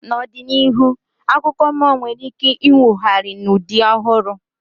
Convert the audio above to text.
N'ọdịnihu, akụkọ mmụọ nwere ike inwogharị n'ụdị ọhụrụ